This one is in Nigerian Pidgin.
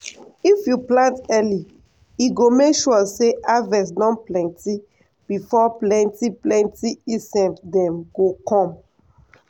if you plant early e go make sure say harvest don plenty before plenty plenty insect dem go come.